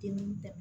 Te ni da